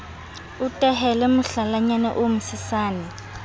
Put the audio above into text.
o tehele mohlalanyana o mosesane